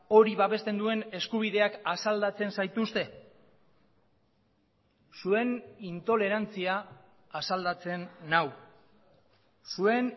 hori babesten duen eskubideak asaldatzen zaituzte zuen intolerantzia asaldatzen nau zuen